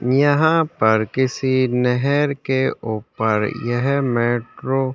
यहाँ पर किसी नेहर के ऊपर यह मेट्रो --